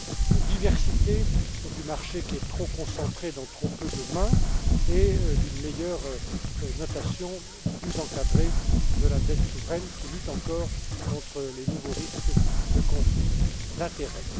de diversité du marché, qui est trop concentré dans trop peu de mains, et d'une meilleure notation, plus encadrée, de la dette souveraine, qui lutte encore contre les nouveaux risques de conflits d'intérêts.